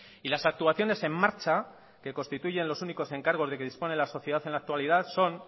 y las actuaciones en marcha que constituyen los únicos encargos de que dispone la sociedad en la actualidad son